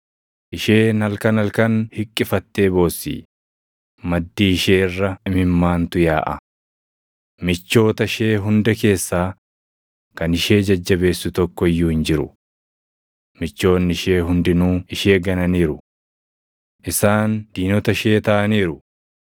Isheen halkan halkan hiqqifattee boossi; maddii ishee irra imimmaantu yaaʼa. Michoota ishee hunda keessaa kan ishee jajjabeessu tokko iyyuu hin jiru. Michoonni ishee hundinuu ishee gananiiru; isaan diinota ishee taʼaniiru.